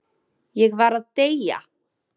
Ég var að deyja!